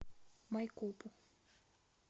майкопу